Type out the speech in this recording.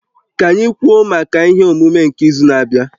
Ka anyị kwuo maka ihe omume nke izu na-abịa